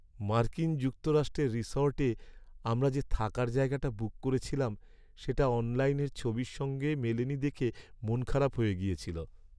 মার্কিন যুক্তরাষ্ট্রের রিসর্টে আমরা যে থাকার জায়গাটা বুক করেছিলাম সেটা অনলাইনের ছবির সঙ্গে মেলেনি দেখে মনখারাপ হয়ে গেছিল।